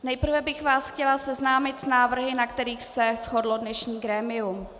Nejprve bych vás chtěla seznámit s návrhy, na kterých se shodlo dnešní grémium.